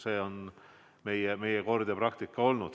Selline on meie kord ja praktika olnud.